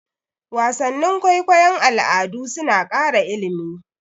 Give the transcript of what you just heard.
Wasannin kwaikwayon al'adu suna ƙara ilimi.